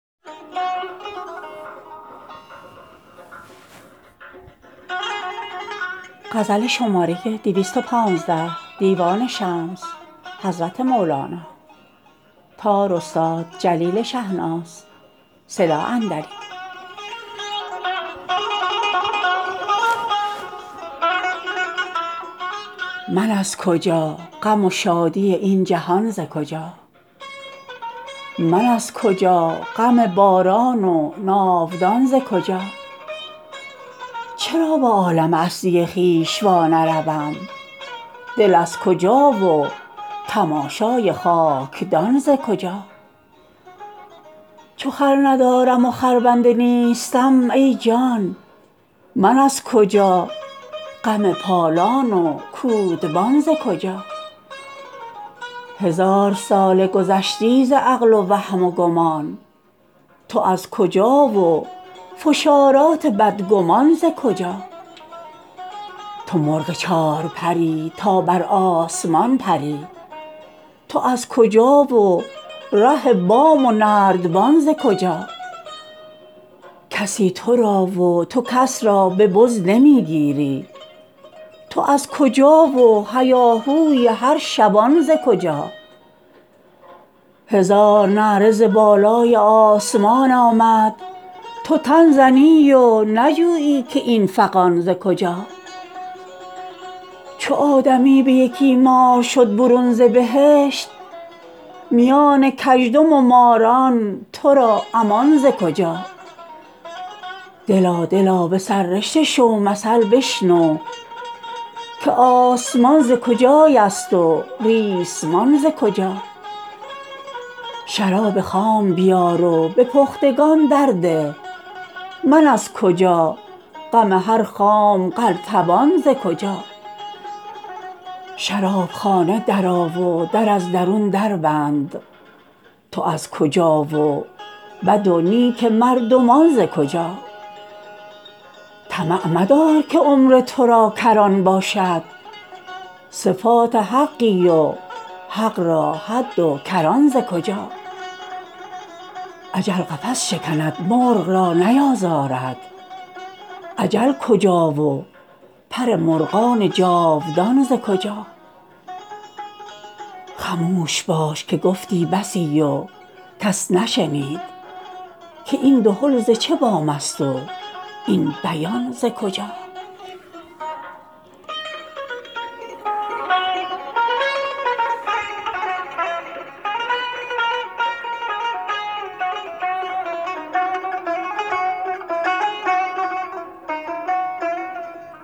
من از کجا غم و شادی این جهان ز کجا من از کجا غم باران و ناودان ز کجا چرا به عالم اصلی خویش وانروم دل از کجا و تماشای خاک دان ز کجا چو خر ندارم و خربنده نیستم ای جان من از کجا غم پالان و کودبان ز کجا هزار ساله گذشتی ز عقل و وهم و گمان تو از کجا و فشارات بدگمان ز کجا تو مرغ چار پر ی تا بر آسمان پری تو از کجا و ره بام و نردبان ز کجا کسی تو را و تو کس را به بز نمی گیری تو از کجا و هیاهای هر شبان ز کجا هزار نعره ز بالای آسمان آمد تو تن زنی و نجویی که این فغان ز کجا چو آدمی به یکی مار شد برون ز بهشت میان کژدم و ماران تو را امان ز کجا دلا دلا به سر رشته شو مثل بشنو که آسمان ز کجایست و ریسمان ز کجا شراب خام بیار و به پختگان درده من از کجا غم هر خام قلتبان ز کجا شراب خانه درآ و در از درون دربند تو از کجا و بد و نیک مردمان ز کجا طمع مدار که عمر تو را کران باشد صفات حقی و حق را حد و کران ز کجا اجل قفس شکند مرغ را نیازارد اجل کجا و پر مرغ جاودان ز کجا خموش باش که گفتی بسی و کس نشنید که این دهل ز چه بام ست و این بیان ز کجا